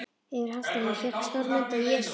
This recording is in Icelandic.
Yfir altarinu hékk stór mynd af Jesú.